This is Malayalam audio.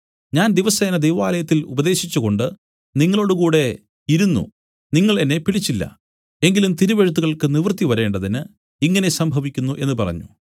ഞാൻ ദിവസേന ദൈവാലയത്തിൽ ഉപദേശിച്ചുകൊണ്ട് നിങ്ങളോടുകൂടെ ഇരുന്നു നിങ്ങൾ എന്നെ പിടിച്ചില്ല എങ്കിലും തിരുവെഴുത്തുകൾക്ക് നിവൃത്തി വരേണ്ടതിന് ഇങ്ങനെ സംഭവിക്കുന്നു എന്നു പറഞ്ഞു